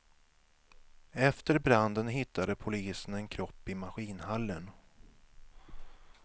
Efter branden hittade polisen en kropp i maskinhallen.